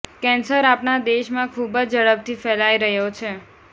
cancer આપણા દેશમાં ખુબ જ ઝડપથી ફેલાઈ રહ્યો છે